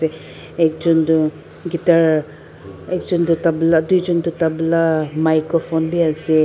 ekjon toh guitar ekjon toh tabla tuijon toh tabla microphone biase.